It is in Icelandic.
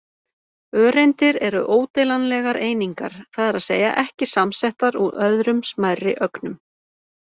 Öreindir eru ódeilanlegar einingar, það er að segja ekki samsettar úr öðrum smærri ögnum.